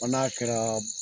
Fɔ n'a kɛra